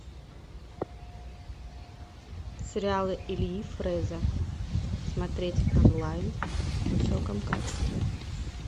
сериалы ильи фреза смотреть онлайн в высоком качестве